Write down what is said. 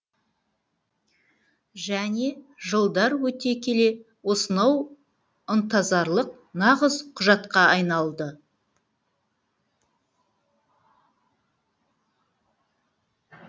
және жылдар өте келе осынау ынтызарлық нағыз құжатқа айналды